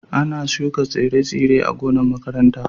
Ana shuka tsire-tsire a gonan' makaranta.